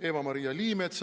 Eva-Maria Liimetsale.